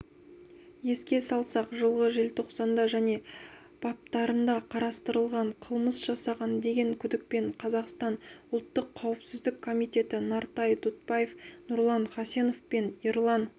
еске салсақ жылғы желтоқсанда және баптарында қарастырылған қылмыс жасаған деген күдікпен қазақстан ұлттық қауіпсіздік комитеті нартай дұтбаев нұрлан хасенов пен ерлан